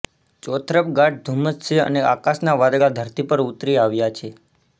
ચોતરફ ગાઢ ધૂમ્મસ છે અને આકાશના વાદળા ધરતી પર ઉતરી આવ્યા છે